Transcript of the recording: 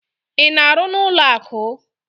Ị na-arụ n'ụlọakụ?